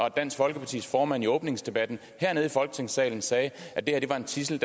at dansk folkepartis formand i åbningsdebatten hernede i folketingssalen sagde at at det var en tidsel